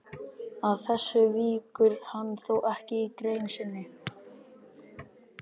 Að þessu víkur hann þó ekki í grein sinni.